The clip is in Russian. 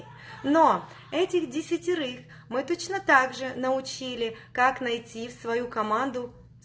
но этих десятерых мы точно так же научили как найти в свою команду